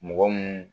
Mɔgɔ mun